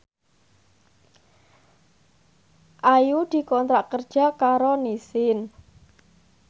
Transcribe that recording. Ayu dikontrak kerja karo Nissin